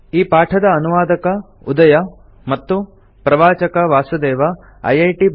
ಈ ಪಾಠದ ಅನುವಾದಕ ಉದಯ ಮತ್ತು ಪ್ರವಾಚಕ ವಾಸುದೇವ ಐಐಟಿ